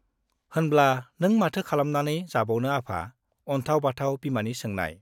होनब्ला नों माथो खालामनानै जाबावनो आफा? अन्थाव बाथाव बिमानि सोंनाय।